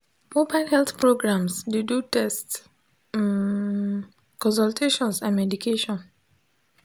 mobile health programs dey do tests um consultations and medication.